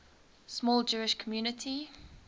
small jewish community